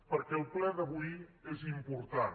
perquè el ple d’avui és important